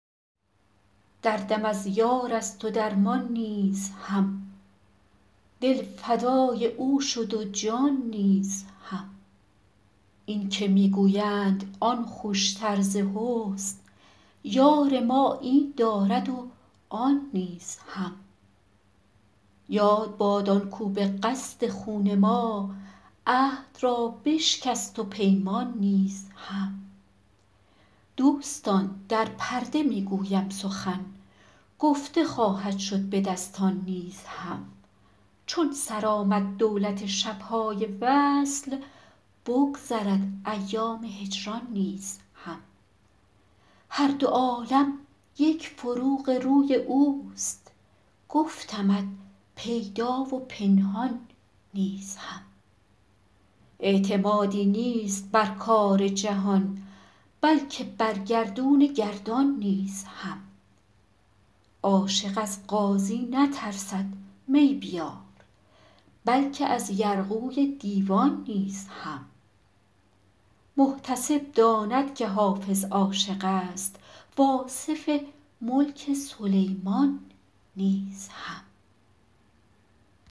دردم از یار است و درمان نیز هم دل فدای او شد و جان نیز هم این که می گویند آن خوشتر ز حسن یار ما این دارد و آن نیز هم یاد باد آن کاو به قصد خون ما عهد را بشکست و پیمان نیز هم دوستان در پرده می گویم سخن گفته خواهد شد به دستان نیز هم چون سر آمد دولت شب های وصل بگذرد ایام هجران نیز هم هر دو عالم یک فروغ روی اوست گفتمت پیدا و پنهان نیز هم اعتمادی نیست بر کار جهان بلکه بر گردون گردان نیز هم عاشق از قاضی نترسد می بیار بلکه از یرغوی دیوان نیز هم محتسب داند که حافظ عاشق است و آصف ملک سلیمان نیز هم